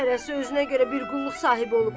Hərəsi özünə görə bir qulluq sahibi olub.